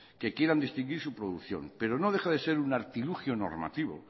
que quieran distinguir su producción pero no deja de ser un artilugio normativo